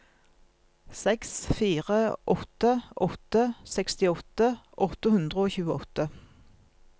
seks fire åtte åtte sekstiåtte åtte hundre og tjueåtte